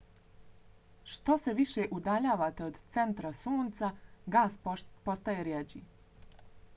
što se više udaljavate od centra sunca gas postaje rjeđi